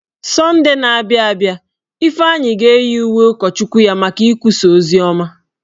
Sọndee na-abịa abịa, Ifeanyị ga-eyi uwe ụkọchukwu ya maka ikwusa oziọma.